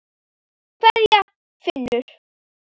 Kveðja, Finnur.